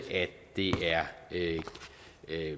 det